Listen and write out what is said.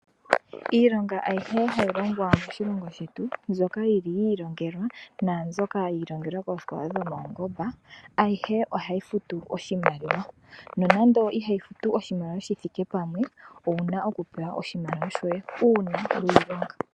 Ilonga ayihe hayi longwa moshilongo shetu mbyoka yili yi ilongelwa naambyoka yi ilongelwa koosikola dhopawungomba ayihe ohayi futu oshima. Nonando ihayi futu oshimaliwa shithike pamwe owuna okupewa oshimaliwa shoye uuna weyilonga.